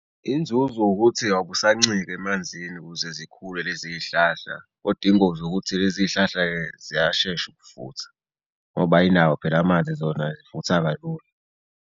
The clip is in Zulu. Inzuzo ukuthi awubusancika emanzini ukuze zikhule lezi hlahla odinga zokuthi lezi hlahla ziyashesha ukufutha, ngoba ayinawo phela amanzi zona zifutha kalula.